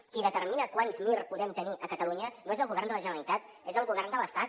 qui determina quants mir podem tenir a catalunya no és el govern de la generalitat és el govern de l’estat